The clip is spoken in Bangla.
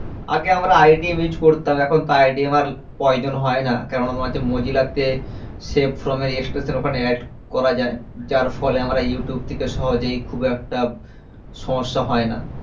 আগে আমরা IDM use করতাম এখনতো IDM র প্রয়োজন হয়না কেনোনা তোমার হচ্ছে mozilla তে save form এর extension ওখানে add করা যায় যার ফলে আমরা ইউটুব কে সহজেই খুব একটা সমস্যা হয়না